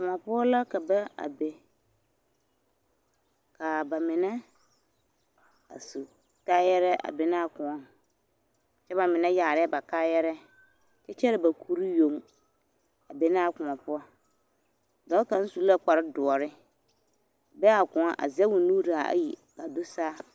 Kõɔ poɔ la ka ba a be, ka bamine a su kaayarɛɛ a be naa kõɔŋ kyɛ bamine yaarɛɛ ba kaayarɛɛ kyɛ kyɛre ba kuri yoŋ a be naa kõɔ poɔ, dɔɔ kaŋ su la kpare doɔre be a kõɔ a zɛge o nuuri zaa ayi k'a do saa.